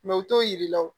u t'o yir'i la o